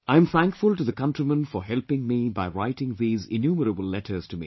I am thankful to the countrymen for helping me by writing these innumerable letters to me